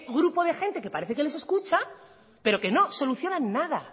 grupo de gente que parece que les escucha pero que no solucionan nada